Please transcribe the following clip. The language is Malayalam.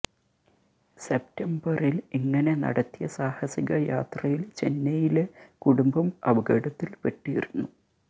സെപ്റ്റംബറിൽ ഇങ്ങനെ നടത്തിയ സാഹസിക യാത്രയിൽ ചെന്നൈയിലെ കുടുംബം അപകടത്തിൽ പെട്ടിരുന്നു